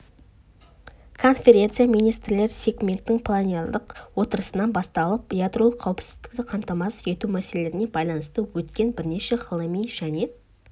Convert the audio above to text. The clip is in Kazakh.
конференция министрлер сегментінің пленарлық отырысынан басталып ядролық қауіпсіздікті қамтамасыз ету мәселелеріне байланысты өткен бірнеше ғылыми және